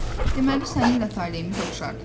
Deməli səninlə taleyimiz oxşardır.